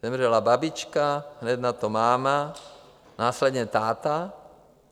Zemřela babička, hned nato máma, následně táta.